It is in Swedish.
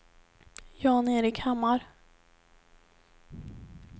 Jan-Erik Hammar